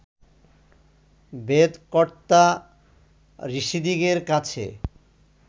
বেদ-কর্ত্তা ঋষিদিগের কাছে